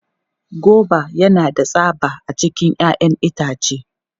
Goba yana da tsaba a cikin 'ya'yan itace.